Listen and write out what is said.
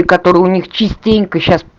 и которые у них частенько сейчас